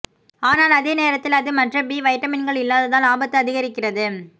ஆனால் அதே நேரத்தில் அது மற்ற பி வைட்டமின்கள் இல்லாததால் ஆபத்து அதிகரிக்கிறது